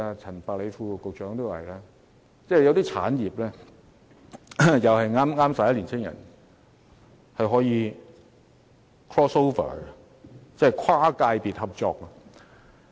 陳百里副局長亦提及有一些產業是可以 crossover， 即跨界別合作。